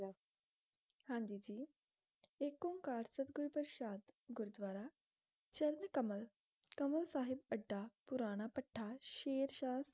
ਹਾਂਜੀ ਜੀ ਜੀ ਇਕ ਓਂਕਾਰ ਸਤਿ ਗੁਰੂ ਪ੍ਰਸਾਦ ਗੁਰਦਵਾਰਾ ਚਰਨਕਮਲ ਕਮਲ ਸਾਹਿਬ ਅੱਡਾ ਪੁਰਾਣਾ ਭੱਠਾ ਸ਼ੇਰਸ਼ਾਹ